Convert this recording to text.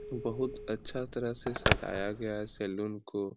बहुत अच्छा तरह से सजाया गया है सैलून को।